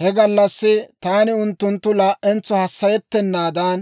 He gallassi taani unttunttu laa"entso hassayettennaadan,